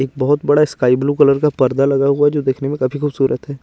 एक बोहोत बड़ा स्काई ब्लू कलर का पर्दा लगा हुआ है जो दिखने में काफी खुबसुरत है।